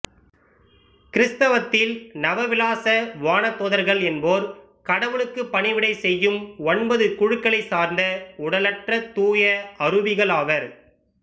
கிறித்தவத்தில் நவ விலாச வானதூதர்கள் என்போர் கடவுளுக்கு பணிவிடை செய்யும் ஒன்பது குழுக்களைச் சார்ந்த உடலற்ற தூய அரூபிகள் ஆவர்